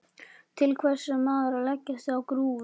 Til hvers á maður að leggjast á grúfu?